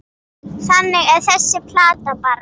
Þannig er þessi plata bara.